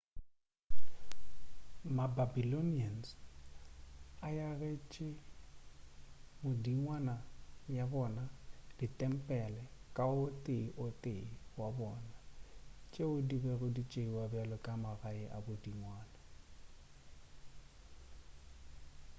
ma-babylonians a agetše modingwana ya bona ditempele ka o tee o tee wa bona tšeo di bego di tšeiwa bjalo ka magae a modingwana